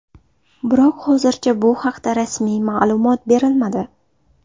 Biroq hozircha bu haqda rasmiy ma’lumot berilmadi.